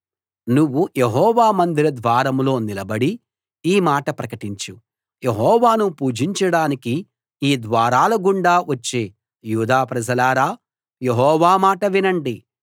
నువ్వు యెహోవా మందిర ద్వారంలో నిలబడి ఈ మాట ప్రకటించు యెహోవాను పూజించడానికి ఈ ద్వారాల గుండా వచ్చే యూదా ప్రజలారా యెహోవా మాట వినండి